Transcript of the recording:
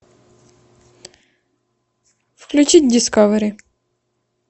включить дискавери